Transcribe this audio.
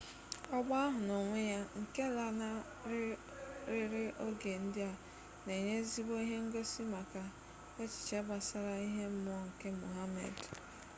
ọgba ahụ n'onwe ya nke lanarịrị oge ndị a na-enye ezigbo ihe ngosi maka echiche gbasara ihe mmụọ nke muhammad